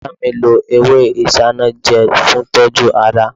Sita mi lo ewé isanaje fún ìtọ́jú ara